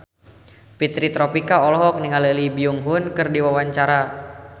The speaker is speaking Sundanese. Fitri Tropika olohok ningali Lee Byung Hun keur diwawancara